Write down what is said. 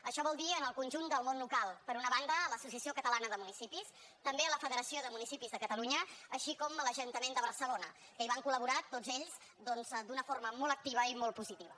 això vol dir en el conjunt del món local per una banda a l’associació catalana de municipis també a la federació de municipis de catalunya com també a l’ajuntament de barcelona que hi van col·laborar tots ells doncs d’una forma molt activa i molt positiva